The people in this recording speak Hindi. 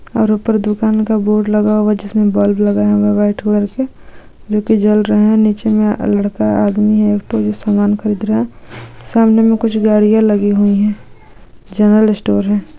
और ऊपर दुकान का बोर्ड लगा हुआ जिसमें बल्ब लगा हुआ है व्हाईट कलर के जो कि जल रहे हैं। नीचे में लड़का आदमी है तो जो सामान खरीद रहा है। सामने में कुछ गाड़ियां लगी हुई है। जनरल स्टोर है।